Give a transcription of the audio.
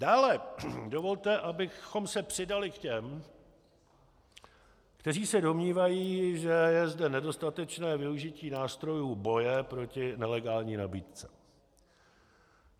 Dále dovolte, abychom se přidali k těm, kteří se domnívají, že je zde nedostatečné využití nástrojů boje proti nelegální nabídce.